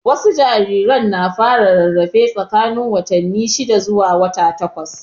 Wasu jarirai na fara rarafe tsakanin watanni shida zuwa wata takwas.